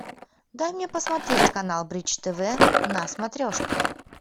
дай мне посмотреть канал бридж тв на смотрешке